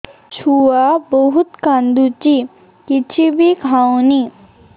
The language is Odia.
ଛୁଆ ବହୁତ୍ କାନ୍ଦୁଚି କିଛିବି ଖାଉନି